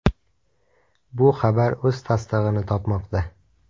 Bu xabar o‘z tasdig‘ini topmoqda.